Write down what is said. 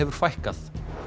fækkar